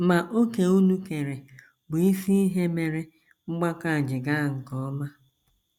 Ma òkè unu keere bụ isi ihe mere mgbakọ a ji gaa nke ọma. ”